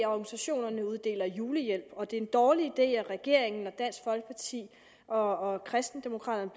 organisationerne uddeler julehjælp og at det er en dårlig idé at regeringen og dansk folkeparti og kristendemokraterne